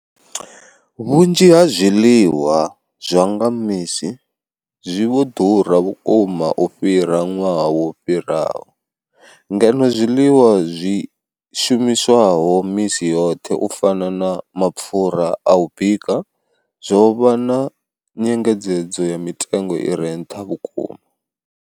Vhunzhi ha zwiḽiwa zwa nga misi zwi vho ḓura vhukuma u fhira ṅwaha wo fhiraho, ngeno zwiḽiwa zwi shumiswaho misi yoṱhe u fana na mapfhura a u bika zwo vha na nyengedzedzo ya mitengo i re nṱha vhukuma.